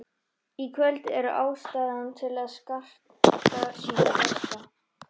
Í kvöld er ástæða til að skarta sínu besta.